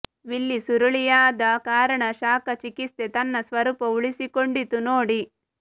ವಿಲ್ಲಿ ಸುರುಳಿಯಾದ ಕಾರಣ ಶಾಖ ಚಿಕಿತ್ಸೆ ತನ್ನ ಸ್ವರೂಪ ಉಳಿಸಿಕೊಂಡಿತು ನೋಡಿ